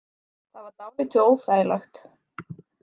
Það var dálítið óþægilegt.